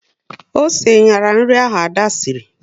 Osé nyara nri ahụ Ada sịrị